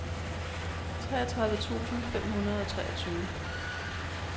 treogtredive tusind fem hundrede og treogtyve